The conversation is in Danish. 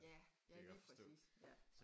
Ja ja lige præcis ja